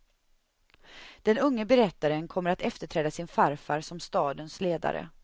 Den unge berättaren kommer att efterträda sin farfar som stadens ledare.